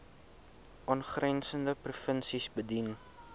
aangrensende provinsies bedien